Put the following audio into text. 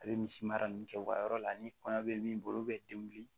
A bɛ misi mara nin kɛ u ka yɔrɔ la ni kɔɲɔ bɛ min bolo olu bɛ den wuli